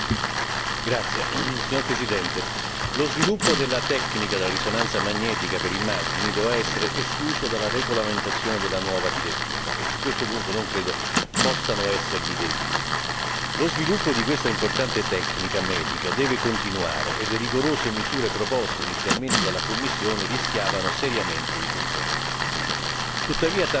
Signora Presidente, onorevoli colleghi, lo sviluppo della tecnica della risonanza magnetica per immagini doveva essere escluso dalla regolamentazione della nuova direttiva e su questo punto non credo possano esservi dei dubbi lo sviluppo di questa importante tecnica medica deve continuare e le rigorose misure proposte inizialmente dalla Commissione rischiavano seriamente di comprometterlo.